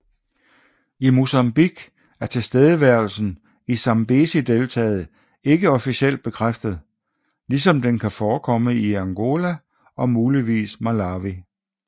I Mozambique er tilstedeværelsen i Zambezideltaet ikke officielt bekræftet ligesom den kan forekomme i Angola og muligvis Malawi